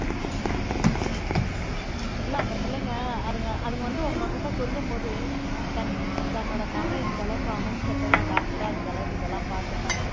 இல்லை அந்தப் பிள்ளைங்க அதுங்க அதுங்க வந்து உங்க கிட்ட சொல்லும் போது தன் தன்னோட மகன் இந்த அளவுக்கு hospital ல doctor ஆ இந்த அளவுக்கு இதெல்லாம் பார்த்து இருக்கா